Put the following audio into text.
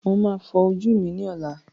Màá fọ ojú mi ní ọlá.